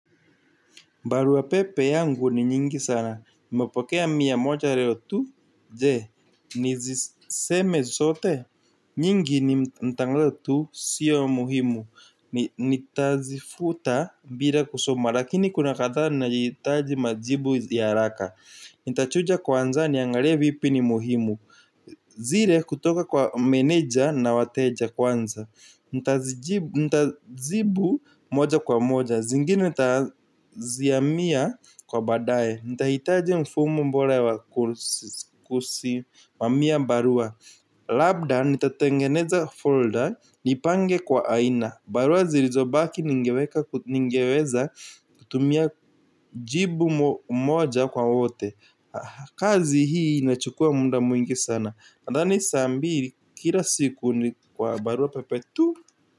Barua pepe yangu ni nyingi sana. Nimepokea mia moja leo tu. Je, niziseme zote. Nyingi ni mtangulio tu sio muhimu. Nitazifuta bila kusoma. Lakini kuna kadhaa linayohitaji majibu ya haraka. Nitachuja kwanza niangalie viipi ni muhimu. Zile kutoka kwa meneja na wateja kwanza. Nitazibu moja kwa moja. Zingine nitaziamia kwa baadae. Nitahitaji mfumo bora wa kusimamia barua. Labda nitatengeneza folder. Nipange kwa aina. Barua zilizobaki ningeweka ningeweza kutumia jibu moja kwa wote. Kazi hii inachukua muda mwingi sana nadhani saa mbili kila siku ni kwa barua pepe tu.